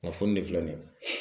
Kunnafoni de filɛ nin ye.